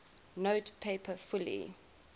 note paper fully